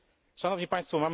Szanowni Państwo!